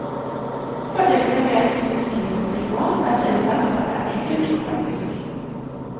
Fordelene ved industrifremstilt mat er selvsagt at det er enkelt og praktisk.